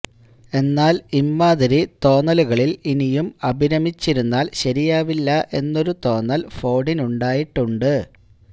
എന്നാല് ഇമ്മാതിരി തോന്നലുകളില് ഇനിയും അഭിരമിച്ചിരുന്നാല് ശരിയാവില്ല എന്നൊരു തോന്നല് ഫോഡിനുണ്ടായിട്ടുണ്ട്